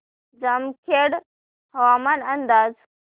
जामखेड हवामान अंदाज